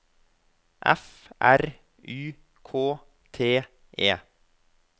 F R Y K T E